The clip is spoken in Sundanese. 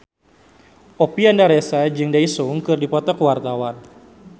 Oppie Andaresta jeung Daesung keur dipoto ku wartawan